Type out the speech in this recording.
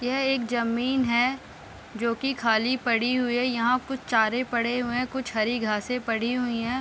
यह एक जमीन है। जो की खाली पड़ी हुई है। यहाँ कुछ चारे परे हुए है। कुछ हरी घासे पड़ी हुई है।